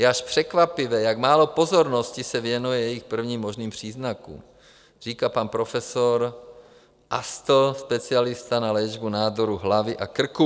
Je až překvapivé, jak málo pozornosti se věnuje jejich prvním možným příznakům, říká pan profesor Astl, specialista na léčbu nádorů hlavy a krku.